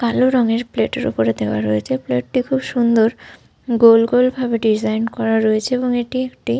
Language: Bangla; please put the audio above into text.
কালো রঙের প্লেট এর ওপরে দেওয়া রয়েছ। প্লেট টি খুব সুন্দর। গোল গোল ভাবে ডিসাইন করা রয়েছে এবং এটি একটি।